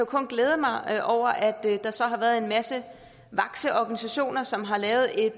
kun glæde mig over at der så har været en masse vakse organisationer som har lavet et